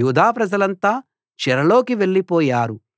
యూదా ప్రజలంతా చెరలోకి వెళ్ళిపోయారు